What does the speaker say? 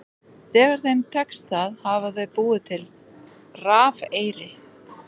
Þegar þeim tekst það hafa þau búið til rafeyri.